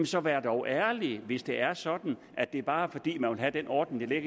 så vær dog ærlig hvis det er sådan at det bare er fordi man vil have den ordning der